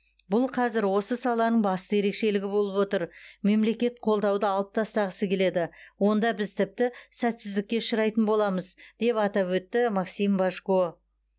бұл қазір осы саланың басты ерекшелігі болып отыр мемлекет қолдауды алып тастағысы келеді онда біз тіпті сәтсіздікке ұшырайтын боламыз деп атап өтті максим божко